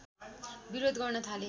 विरोध गर्न थाले